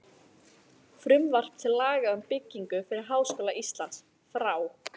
Frumvarp til laga um byggingu fyrir Háskóla Íslands, frá